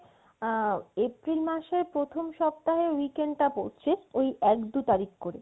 আ~ April মাসের প্রথম সপ্তাহের weekend তা পড়ছে ওই এক দু তারিক করে